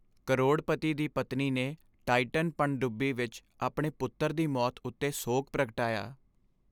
ਕਰੋੜਪਤੀ ਦੀ ਪਤਨੀ ਨੇ ਟਾਈਟਨ ਪਣਡੁੱਬੀ ਵਿੱਚ ਆਪਣੇ ਪੁੱਤਰ ਦੀ ਮੌਤ ਉੱਤੇ ਸੋਗ ਪ੍ਰਗਟਾਇਆ।